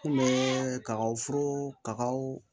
Kun bɛ kaw furu kaw